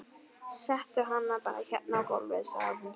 Settu hann bara hérna á gólfið, sagði hún svo.